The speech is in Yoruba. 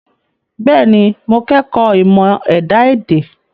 Bẹ́ẹ̀ni, mo kọ́ ẹ̀kọ́ ìmọ̀ ẹ̀dá-èdè.